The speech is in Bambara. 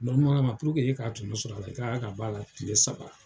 Balimayala e ka tɔnɔ sɔrɔ a la, i kan ka ban a la kile saba.